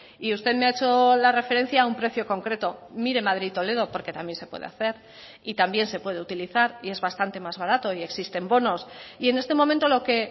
y usted me ha hecho la referencia a un precio concreto mire madrid toledo porque también se puede hacer y también se puede utilizar y es bastante más barato y existen bonos y en este momento lo que